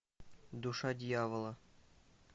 душа дьявола